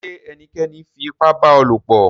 Ṣé ènìkẹ́ní fi ìpà bá ọ lọ̀pọ̀?